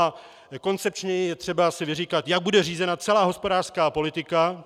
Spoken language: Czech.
A koncepčněji je třeba si vyříkat, jak bude řízena celá hospodářská politika.